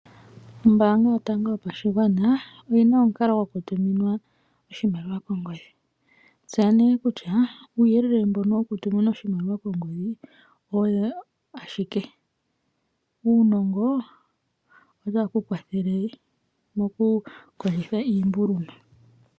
Ombanga yotango yopashigwana oyi na omukalo gokutuminwa oshimaliwa kongodhi. Tseya nee kutya uuyelele mbono wokutuminwa oshimaliwa kongodhi oyo ashike uunongo otaye ku kwathele okukondjitha iimbuluma.